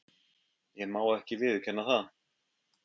Ég má ekki viðurkenna það.